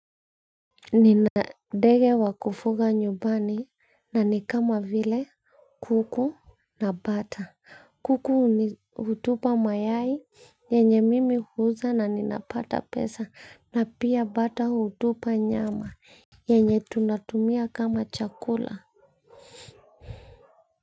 Ninadege wakufuga nyubani na ni kama vile kuku na bata. Kuku hutupa mayai yenye mimi huuza na ninapata pesa na pia bata hutupa nyama yenye tunatumia kama chakula.